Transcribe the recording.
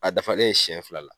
A dafalen ye siyɛn fila la.